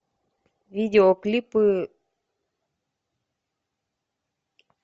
видеоклипы